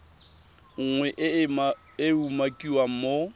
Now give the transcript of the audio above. nngwe e e umakiwang mo